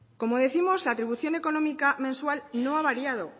como décimos la atribución económica mensual no ha variado